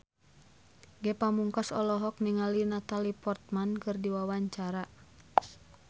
Ge Pamungkas olohok ningali Natalie Portman keur diwawancara